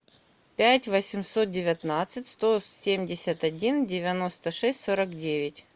пять восемьсот девятнадцать сто семьдесят один девяносто шесть сорок девять